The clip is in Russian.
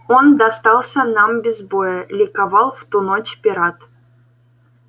он достался нам без боя ликовал в ту ночь пират